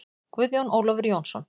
Guðjón Ólafur Jónsson